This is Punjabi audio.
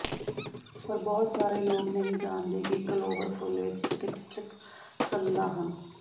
ਪਰ ਬਹੁਤ ਸਾਰੇ ਲੋਕ ਨਹੀਂ ਜਾਣਦੇ ਕਿ ਕਲੋਵਰ ਫੁੱਲ ਵਿਚ ਚਿਕਿਤਸਕ ਸੰਦਾਂ ਹਨ